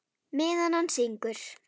Meðan hann syngur.